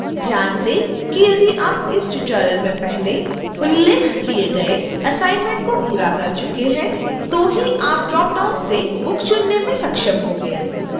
ध्यान दें कि यदि आप इस ट्यूटोरियल में पहले उल्लेख किए गए असाइनमेंट को पूरा कर चुके हैं तो ही आप ड्रॉप डाउन से book चुनने में सक्षम होंगे